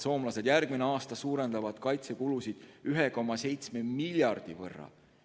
Soomlased suurendavad järgmisel aastal kaitsekulusid 1,7 miljardi võrra.